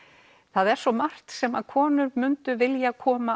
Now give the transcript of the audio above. það er svo margt sem konur myndu vilja koma